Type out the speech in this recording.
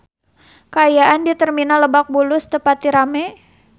Kaayaan di Terminal Lebak Bulus teu pati rame